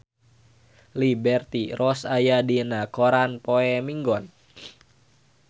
Liberty Ross aya dina koran poe Minggon